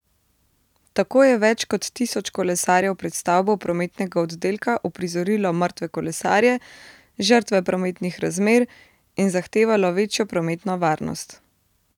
Tako je več kot tisoč kolesarjev pred stavbo prometnega oddelka uprizorilo mrtve kolesarje, žrtve prometnih razmer, in zahtevalo večjo prometno varnost.